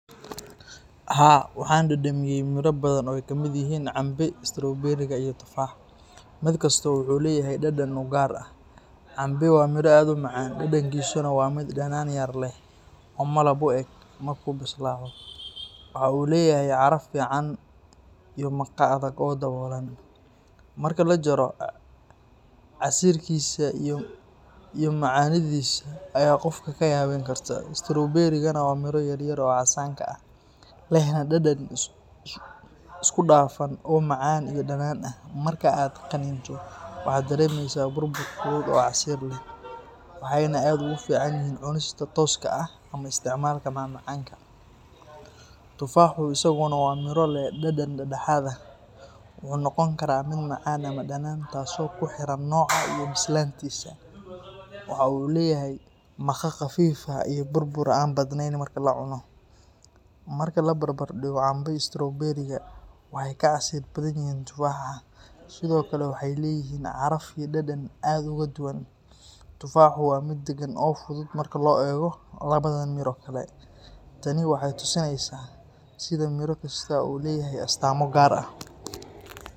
Haa, waxaan dhadhamiyey miro badan oo ay ka mid yihiin cambe, strowberiga iyo tufaax. Mid kasta wuxuu leeyahay dhadhan u gaar ah. Cambe waa miro aad u macaan, dhadhankiisuna waa mid dhanaan yar leh oo malab u eg, marka uu bislaado. Waxa uu leeyahay caraf fiican iyo maqa adag oo daboolan. Marka la jaro, casiirkiisa iyo macaanidiisa ayaa qofka ka yaabin karta. Strowberiga-na waa miro yaryar oo casaanka ah, lehna dhadhan isku dhafan oo macaan iyo dhanaan ah. Marka aad qaniinto waxaad dareemeysaa burbur fudud oo casiir leh, waxayna aad ugu fiican yihiin cunista tooska ah ama isticmaalka macmacaanka. Tufaaxu isaguna waa miro leh dhadhan dhexdhexaad ah. Wuxuu noqon karaa mid macaan ama dhanaan, taasoo ku xiran nooca iyo bislaantiisa. Waxa uu leeyahay maqa khafiif ah iyo burbur aan badnayn marka la cuno. Marka la barbardhigo, cambe iyo strowberiga waxay ka casiir badan yihiin tufaaxa, sidoo kalena waxay leeyihiin caraf iyo dhadhan aad uga duwan. Tufaaxu waa mid degan oo fudud marka loo eego labadan miro kale. Tani waxay tusinaysaa sida miro kastaa u leeyahay astaamo gaar ah.